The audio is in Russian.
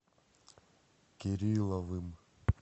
кирилловым